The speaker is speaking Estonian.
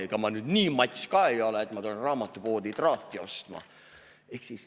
Ega ma nüüd nii mats ka ei ole, et ma tulen raamatupoodi traati ostma.